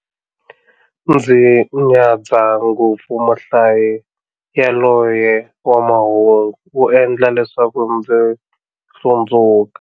Ndzi nyadza ngopfu muhlayi yaloye wa mahungu, u endla leswaku ndzi hlundzuka.